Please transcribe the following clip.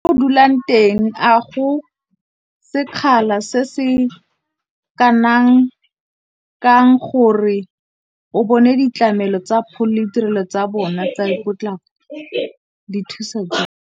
Mo o dulang teng a go sekgala se se kanang kang gore o bone ditlhamelo tsa pholo, le ditirelo tsa bona tsa potlako di thusa jang?